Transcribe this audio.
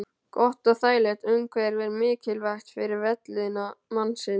Gott og þægilegt umhverfi er mikilvægt fyrir vellíðan mannsins.